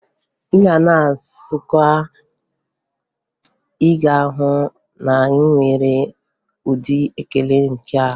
Ị gaa na Nsụka, Ị ga-ahụ na ha nwere ụdị ekele nke ha.